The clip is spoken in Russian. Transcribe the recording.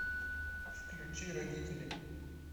включи родители